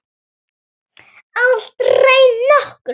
Aldrei nokkurn tíma!